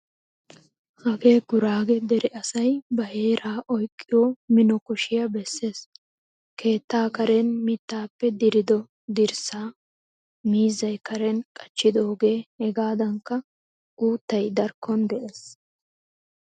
Hagee Guraage dere asay ba heeraa oyqqiyo mino kushiya bessees. Keettaa karen mittappe dirido dirssa, miizzay karen qachchidoge, hegadankka uuttay darkkon de'ees.